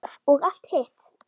Og allt hitt.